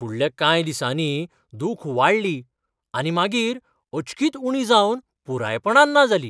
फुडल्या कांय दिसांनी दूख वाडली आनी मागीर अचकीत उणी जावन पुरायपणान ना जाली.